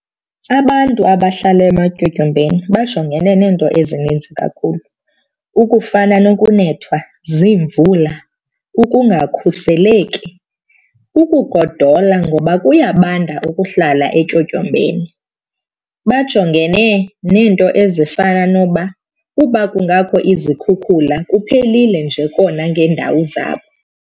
Abantu abahlala ematyotyombeni bajongene neento ezininzi kakhulu ukufana nokunethwa ziimvula, ukungakhuseleki, ukugodola ngoba kuyabanda ukuhlala etyotyombeni. Bajongene neento ezifana noba uba kungakho izikhukhula kuphelile nje kona ngeendawo zabo.